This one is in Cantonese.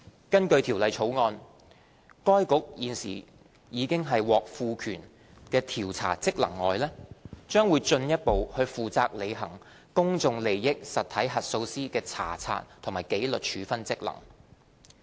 根據《條例草案》，該局除現時已獲賦權的調查職能外，將進一步負責履行公眾利益實體核數師的查察和紀律處分職能。